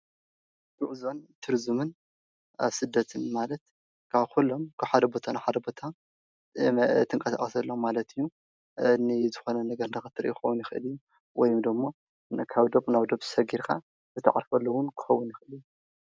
ጉዐዞ፣ ቱሪዝምን ኣብ ስደትን ማለት ካብ ኩሎም ካብ ሓደ ቦታ ናብ ሓደ ቦታ እትንቀሳቀሰሎም ማለት እዩ፡፡ ንዝኮኑ ነገር ንክትርኢ ክከውን ይክእል እዩ ወይ ደሞ ካብ ዶብ ዶብ ናብ ሰጊርካ ክትዓርፈሉ እውን ክከውን ይክእል እዩ፡፡